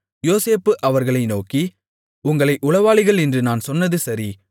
யோசேப்பு அவர்களை நோக்கி உங்களை உளவாளிகள் என்று நான் சொன்னது சரி